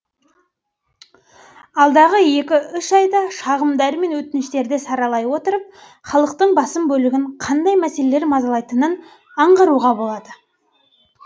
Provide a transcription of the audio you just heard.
алдағы екі үш айда шағымдар мен өтініштерді саралай отырып халықтың басым бөлігін қандай мәселелер мазалайтынын аңғаруға болады